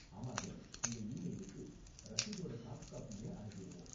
ஆமாங்க, உங்க ஈமெயிலுக்கு ரசீதோட சாஃப்ட் காப்பிய அனுப்பிருவோம்.